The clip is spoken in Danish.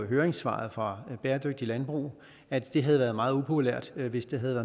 høringssvaret fra bæredygtigt landbrug at det havde været meget upopulært hvis det havde